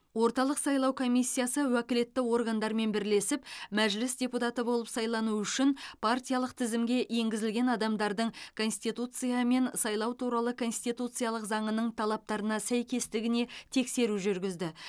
орталық сайлау комиссиясы уәкілетті органдармен бірлесіп мәжіліс депутаты болып сайлану үшін партиялық тізімге енгізілген адамдардың конституция мен сайлау туралы конституциялық заңның талаптарына сәйкестігіне тексеру жүргізді